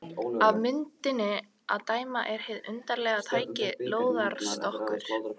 Af myndinni að dæma er hið undarlega tæki lóðarstokkur.